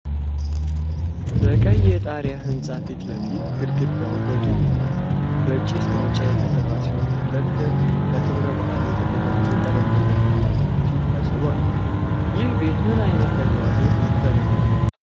በቀይ የጣሪያ ሕንፃ ፊት ለፊት፣ ግድግዳው በጡብና በጭስ ማውጫ የተሠራ ሲሆን፣ ለክብረ በዓል የተዘጋጀ ጠረጴዛና ተክሎች ከስር አሉ። ይህ ቤት ምን ዓይነት ተግባር ያከናውናል?